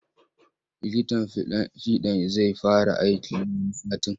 Likitan fiɗan zai fara aiki wani satin.